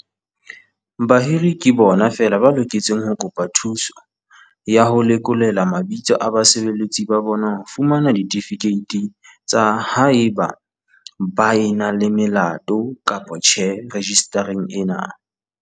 Bahiri ke bona feela ba loketseng ho kopa thuso ya ho lekolelwa mabitso a basebeletsi ba bona ho fumana ditifikeiti tsa haeba ba na le melato kapa tjhe rejistareng ena.